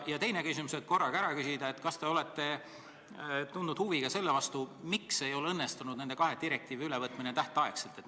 Ja teine küsimus, et korraga ära küsida: kas te olete tundnud huvi ka selle vastu, miks nende kahe direktiivi ülevõtmine ei ole tähtaegselt õnnestunud?